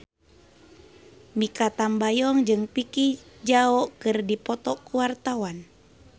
Mikha Tambayong jeung Vicki Zao keur dipoto ku wartawan